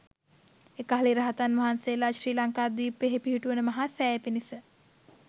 එකල්හි රහතන් වහන්සේලා ශ්‍රී ලංකාද්වීපයෙහි පිහිටුවන මහාසෑය පිණිස